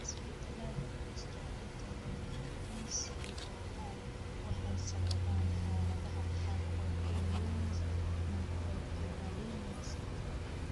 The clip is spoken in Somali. Isbeddellada ku jira hidda-wadaha BCOR waxay sababaan xaaladaha qaarkood ee Lenz microphthalmia syndrome.